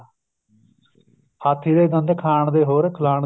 ਹਾਥੀ ਦੇ ਦੰਦ ਖਾਣ ਦੇ ਹੋਰ ਖਿਲਾਉਣ ਦੇ